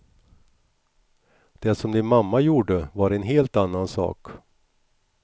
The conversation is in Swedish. Det som din mamma gjorde var en helt annan sak.